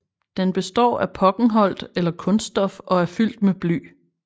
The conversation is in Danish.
Den består af pokkenholt eller kunststof og er fyldt med bly